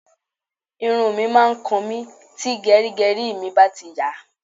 Irun mi máa ń kan mi tí gẹrígẹrí mi bá ti ń yàá.